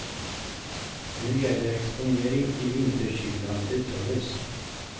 Nu gäller exponering i vinterkylan utomhus.